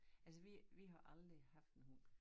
Altså vi vi har aldrig haft en hund